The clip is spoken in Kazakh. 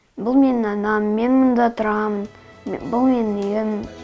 бұл менің анам мен мұнда тұрамын бұл менің үйім